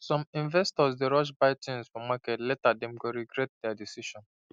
some investors dey rush buy things for market later dem go regret their decision